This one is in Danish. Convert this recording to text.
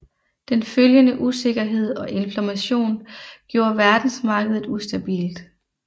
Den følgende usikkerhed og inflation gjorde verdensmarkedet ustabilt